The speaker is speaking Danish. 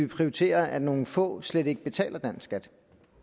prioritere at nogle få slet ikke betaler dansk skat